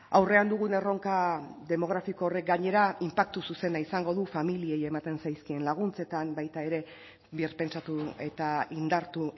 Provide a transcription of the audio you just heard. aurrean dugun erronka demografiko horrek gainera inpaktu zuzena izango du familiei ematen zaizkien laguntzetan baita ere birpentsatu eta indartu